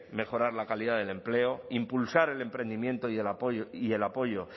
mejorar la calidad del empleo impulsar el emprendimiento y el apoyo